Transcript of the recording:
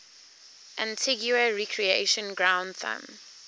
antigua recreation ground thumb